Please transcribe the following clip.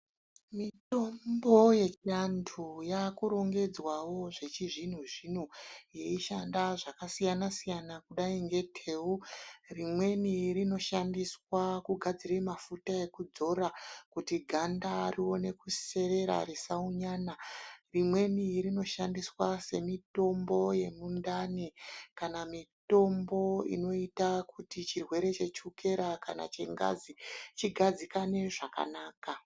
Mitombo yechianthu yakurongedzwawo zvechizvino zvino yeishanda zvakasiyana siyana kudai ngeteu. Rimweni rinoshandiswa kugadzire mafuta edzora kuti ganda rione kuserera risaunyana. Rimweni rnoshandiswa semitombo yemundani kana mitombo inoita kuti chirwere chechukera kana chengazi chigadzikane zvakanaka.